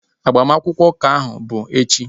Agbamakwụkwọ ụka ahu bu echi